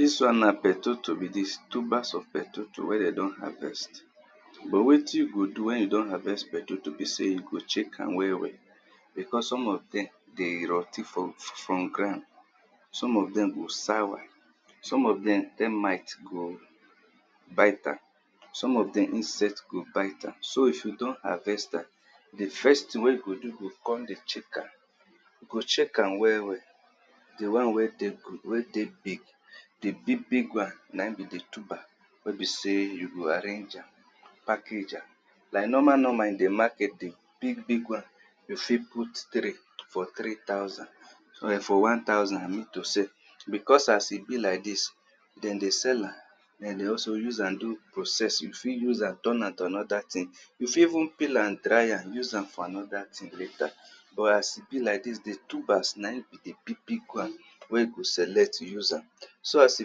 Dis wann na peteto be dis, tubners of peteto wen de don harvest.but wetin you go do wen you don harvest potato na sey you go check am well well because some of dem dey rot ten for ground, some of dem go sour, some of dem termite go bite am, some of dem insect go bite am, so if you don harvest am, di first thing wen you go do, you go check am, if you check am well well di won wey dey big wey besey you arrange am package am, normal normal di big big wan de fit put three for one thousand because as e be like dis, dem dey sell am use am do because as e be like dis, dem dey sell am den dey also use am do process you fit use am turn am to anoda thing, you fit even use am dry am use am for anoda tjhing but as e be like dis, di tuber na in be di big big wan wen you o select. so s e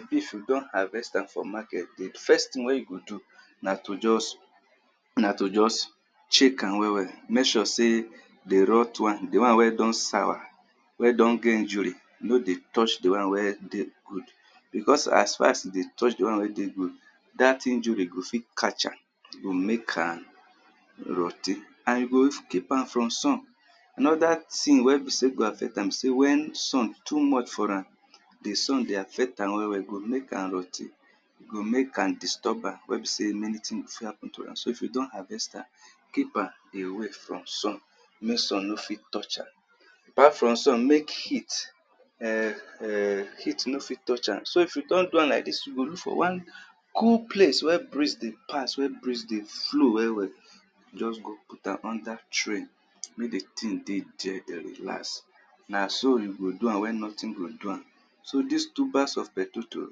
be wen you don harvest am di first thing wen you go do na to just check am well well, mek sure sey di wan wey dn sour, wey don get injury no dey touch di wan wey good, because as e dey touch di wan wey good, dat injury fit catch am e go mek am rot ten and you o keep am for sun anoda thing wey fit affect am na wen sun too much for ram, di sun dey ffct am well well, go mek am rottn, go mek am disturn wen be sey many things fit happen to am so if you don harvest am, keep am from sun mek sun no touch am. Aoart from sun, mek heat,[um]heat no touch am so if you don doam like dis, you look for wan plce wen breeze dey pass wen breeze dey flow well well, just go put am under tree mey di thing relax na so you go do am wen nothing do am. So dis tubers of potato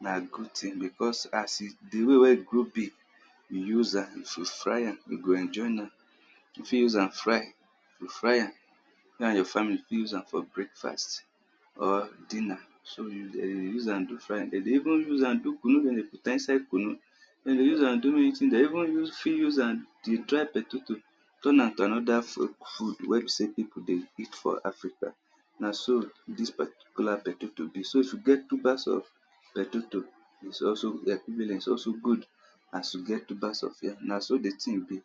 na so di way wey e grow big, you fit use am fry am you go enjoy am, you fit use am fry am, you and your family use am for breakfa st, or for dinner, use am do de dey even use am do kunnu, de dey use am do de even fit use am dey dry potato turn am to anoda food wen besey pipu dey eat for African. So if you get tubers of potato, is also good as you get tubers of yam na so di thing be.